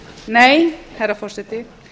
nei herra forseti